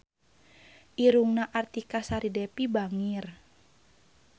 Irungna Artika Sari Devi bangir